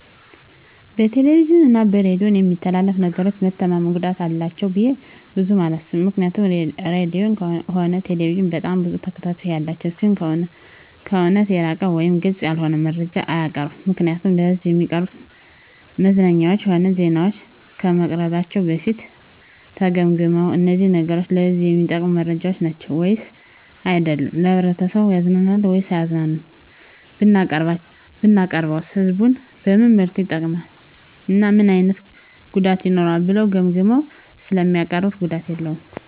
በቴሌቪዥን እና በሬዲዮ በሚተላለፉ ነገሮች መተማመን ጉዳት አላቸው ብዬ ብዙም አላስብም ምክንያቱም ራድዮም ሆነ ቴሌቪዥን በጣም ብዙ ተከታታይ ያላቸው ሲሆኑ ከእውነት የራቀ ወይም ግልፅ ያልሆነ መረጃ አያቀርቡም ምክንያቱም ለሕዝብ እሚቀርቡ መዝናኛዎችም ሆነ ዜናዎች ከመቅረባቸው በፊት ተገምግመው እነዚህ ነገሮች ለህዝቡ እሚጠቅሙ መረጃዎች ናቸው ወይስ አይደሉም፣ ማህበረሰቡን ያዝናናሉ ወይስ አያዝናኑም፣ ብናቀርበውስ ህዝቡን በምን መልኩ ይጠቅማል እና ምን አይነት ጉዳትስ ይኖረዋል ብለው ገምግመው ስለሚያቀርቡት ጉዳት የለውም።